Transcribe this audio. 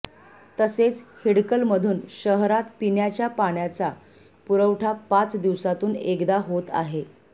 तसेच हिडकलमधून शहरात पिण्याचा पाण्याचा पुरवठा पाच दिवसातून एकदा होत आहे